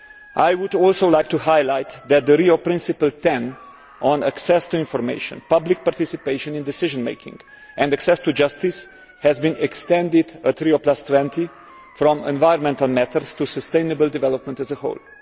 I would also like to highlight that Rio Principle 10 on access to information, public participation in decision making and access to justice has been extended at Rio20 from environmental matters to sustainable development as a whole.